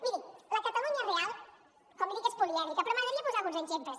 miri la catalunya real com li dic és polièdrica però m’agradaria posar ne alguns exemples